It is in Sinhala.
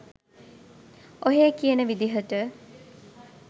ඔහේ කියන විදියට